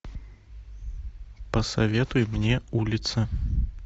посоветуй мне улица